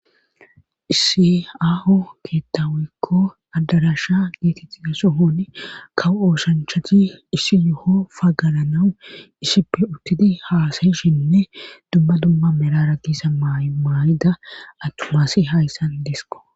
Issi aaho keettawikko addarasha geetixiga so honi kawu ooshanchati isi yoho fagalanawu isippe urtidi haasayishinne dumma dumma merara gisa maay'ida atomaasi hayssan deesko.